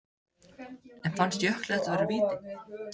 En fannst Jökli þetta vera víti?